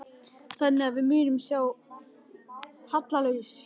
Þannig að við munum sjá hallalaus fjárlög áfram?